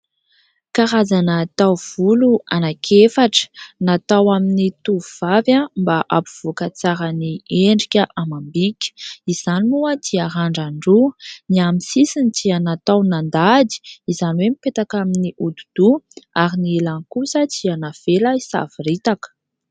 Karazana taovolo anankiefatra, natao amin'ny tovovavy mba hampivoaka tsara ny endrika amam-bika. Izany moa dia randran-droa, ny amin'ny sisiny dia natao nandady izany hoe mipetaka amin'ny hodi-doha ary ny ilany kosa dia navela hisavoritaka.